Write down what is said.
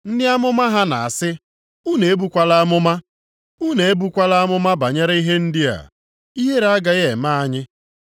Ndị amụma ha na-asị, “Unu ebukwala amụma.” “Unu ebukwala amụma banyere ihe ndị a, ihere agaghị eme anyị.”